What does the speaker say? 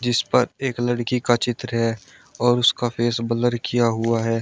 जीस पर एक लड़की का चित्र है और उसका फेस ब्लर किया हुआ है।